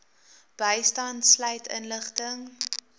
bystand sluit inligting